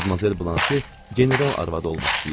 Madmazel Blanşe general arvadı olmaq istəyir.